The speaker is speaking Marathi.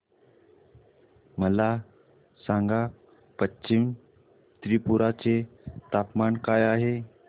मला सांगा पश्चिम त्रिपुरा चे तापमान काय आहे